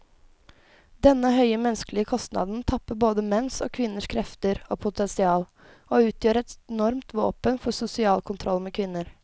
Denne høye menneskelige kostnaden tapper både menns og kvinners krefter og potensial, og utgjør et enormt våpen for sosial kontroll med kvinner.